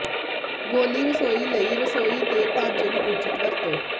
ਗੌਲੀ ਰਸੋਈ ਲਈ ਰਸੋਈ ਦੇ ਢਾਂਚੇ ਨੂੰ ਉਚਿਤ ਵਰਤੋ